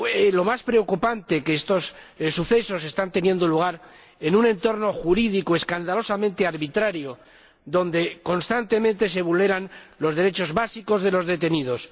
Lo más preocupante es que estos sucesos están teniendo lugar en un entorno jurídico escandalosamente arbitrario, donde constantemente se vulneran los derechos básicos de los detenidos.